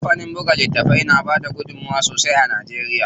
Kampanin buga littafai da bada gudunmuwa sosai a Najeriya.